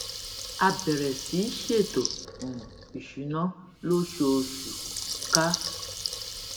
a bèrè sí í ṣètò um ìṣúná lóṣooṣù ká